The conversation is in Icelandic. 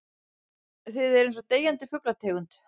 Þið eruð einsog deyjandi fuglategund.